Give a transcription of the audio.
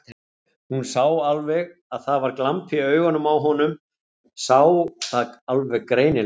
Hún sá alveg að það var glampi í augunum á honum, sá það alveg greinilega.